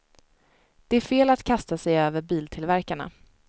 Det är fel att kasta sig över biltillverkarna.